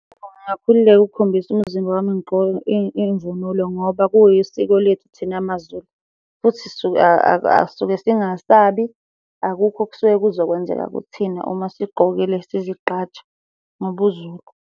Ngingakhululeka ukukhombisa umzimba wami ngigqoke imvunulo ngoba kuyisiko lethu thina maZulu, futhi suke sisuke zingasabi. Akukho okusuke kuzokwenzeka kuthina uma sigqokile sizigqaje ngobuZulu.